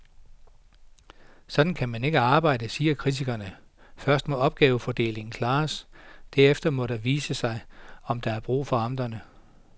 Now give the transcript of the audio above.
Sådan kan man ikke arbejde, siger kritikerne, først må opgavefordelingen klares, derefter må det vise sig, om der er brug for amterne.